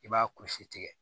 I b'a kusi tigɛ